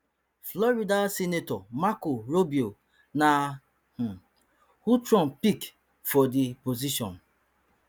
florida senator marco rubio na um who trump pick for di position